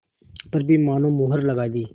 पर भी मानो मुहर लगा दी